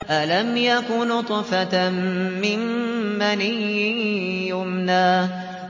أَلَمْ يَكُ نُطْفَةً مِّن مَّنِيٍّ يُمْنَىٰ